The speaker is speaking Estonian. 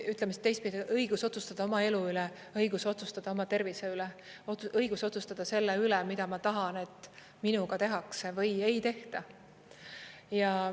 Ütleme siis teistpidi: õigus otsustada oma elu üle, õigus otsustada oma tervise üle, õigus otsustada selle üle, mida ma tahan, et minuga tehakse või ei tehta.